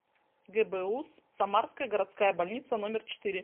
гбуз самарская городская больница номер четыре